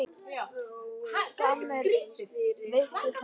Skammir vissir fengu.